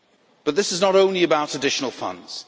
But this is not only about additional funds.